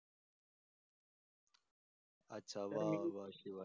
अच्छा वाह वाह शिवांश.